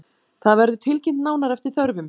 Það verður tilkynnt nánar eftir þörfum